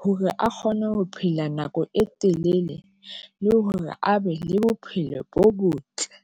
hore a kgone ho phela nako e telele, le hore a be le bophelo bo botle.